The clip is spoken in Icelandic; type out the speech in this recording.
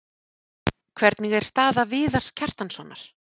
Hvernig er staða Viðars Kjartanssonar?